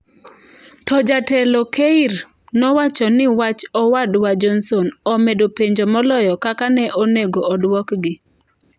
To jatelo Keir nowacho ni wach owadwa Johnson " omedo penjo moloyo kaka ne onego odwokgi".